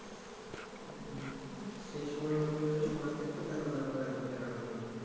সেই সময় এর মতো যদি সময় থাকত তাহলে হইত এতো প্যারা হইত না